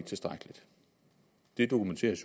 tilstrækkeligt det dokumenteres